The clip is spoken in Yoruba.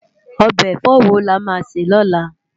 Òbe èfò wó lá má sè lólá?